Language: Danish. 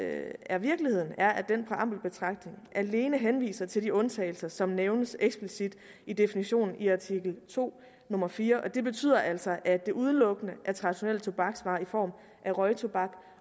er virkeligheden er at den præambelbetragtning alene henviser til de undtagelser som nævnes eksplicit i definitionen i artikel to nummer fjerde og det betyder altså at det udelukkende er traditionelle tobaksvarer i form af røgtobak